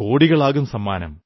കോടികളാകും സമ്മാനം